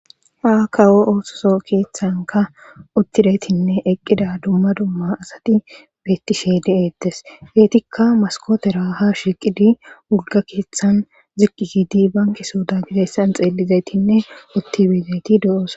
Ha kawo oososo keeththanka uttidaytinne eqqida dumma dumma asati beettishe de7ettes geetikka maskootera ha shiqidi wulga keeththan ziqqi gidi bankisooda gideyssan xeellizaytinne uttibezayti do7oosa